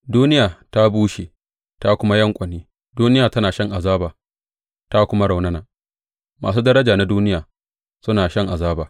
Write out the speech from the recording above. Duniya ta bushe ta kuma yanƙwane, duniya tana shan azaba ta kuma raunana, masu daraja na duniya suna shan azaba.